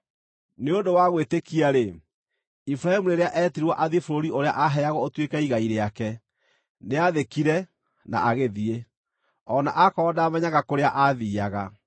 Nĩ ũndũ wa gwĩtĩkia-rĩ, Iburahĩmu rĩrĩa eetirwo athiĩ bũrũri ũrĩa aaheagwo ũtuĩke igai rĩake, nĩathĩkire na agĩthiĩ, o na akorwo ndaamenyaga kũrĩa aathiiaga.